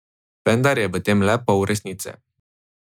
Vendar je v tem le pol resnice.